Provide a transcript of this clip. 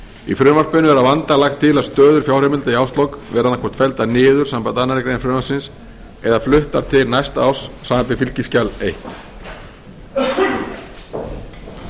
í frumvarpinu er að vanda lagt til að stöður fjárheimilda í árslok verði annað hvort felldar niður samanber aðra grein frumvarpsins eða fluttar til næsta árs samanber fylgiskjal fyrstu í